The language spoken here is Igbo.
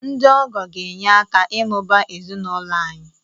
Ndị ọgọ ga-enye aka ịmụba ezinụlọ anyị